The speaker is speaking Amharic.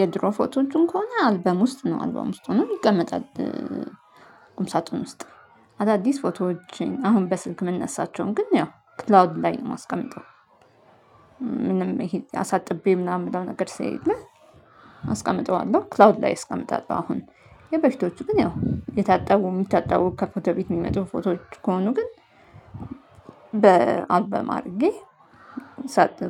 የድሮ ፎቶዎችን ከሆነ አልበም ውስጥ ነው አልበም ውስጥ ሆኖ ይቀመጣል። ቁም ሳጥን ውስጥ አዳዲስ ፎቶዎችን አሁን በስልክ የምነሳቸውን ግን ያው ክላውድ ላይ ነው የማስቀምጠው። ምንም ይሄ አሳጥቤ ምናምን የምለው ነገር ስለሌለ አስቀምጠዋለሁ ክላውድ ላይ አስቀምጣለሁ አሁን። የበፊቶቹ ግን ያው የታጠቡ የሚታጠቡ ከፎቶ ቤት የሚመጡ ፎቶዎች ከሆኑ ግን አድርጌ